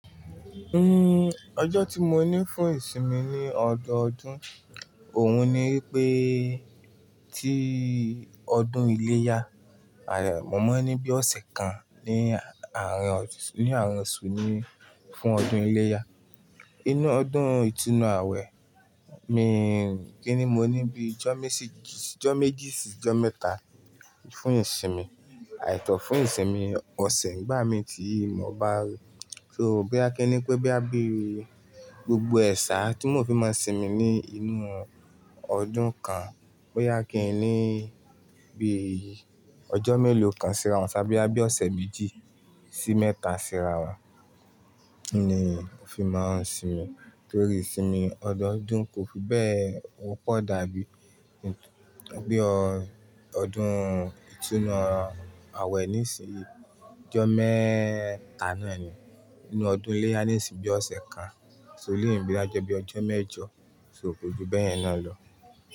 Uhm, ọjọ́ tí mo ní fún ìsinmi ní ọdọọdún òun ni pé tí ọdún iléyá, mọ́ ní bí ọ̀sẹ̀ kan ní àárín ní àárín osù ní fún ọdún iléyá. Inú ọdún ìtúnu àwẹ̀, mi kíni mo ní bí ọjọ́ méjì sí ọjọ́ mẹ́ta fún ìsinmi, àìtọ́ fún ìsinmi ọ̀sẹ̀ nígbà mí tí mo bá rí. So boya kíni pé bo ya bí gbogbo ẹ̀ sà tí mo fi máa sinmi ní inú ọdún kan, bóyá kíni bí ọjọ́ mélòó kan síra wọn tàbí bí ọ̀sẹ̀ méjì sí mẹ́ta síra wọn ni n fi máa ń sinmi. Torí ìsinmi ọdọọdún kò fi bẹ́ẹ̀ pọ̀ dàbí bí ọdún ìtúnu àwẹ̀ ní ìsinmi ọjọ́ mẹ́ta náà ni. Inú ọdún iléyá ní ìsinmi bí ọ̀sẹ̀ kan, so lè bí ajá bí ọjọ́ mẹ́jọ, so kò ju bẹ́ẹ̀ náà lọ.